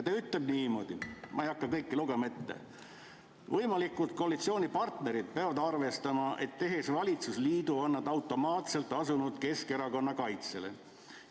Ma ei hakka kõike lugema, aga ta ütleb niimoodi: "Võimalikud koalitsioonipartnerid aga peavad arvestama, et tehes valitsusliidu, on nad automaatselt asunud Keskerakonna kaitsele.